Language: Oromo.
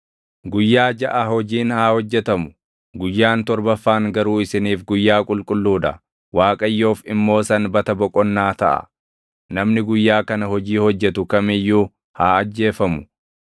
Guyyaa jaʼa hojiin haa hojjetamu; guyyaan torbaffaan garuu isiniif guyyaa qulqulluu dha; Waaqayyoof immoo sanbata boqonnaa taʼa. Namni guyyaa kana hojii hojjetu kam iyyuu haa ajjeefamu.